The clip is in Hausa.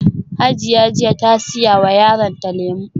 Hajiya jiya ta siya ma yaronta lemu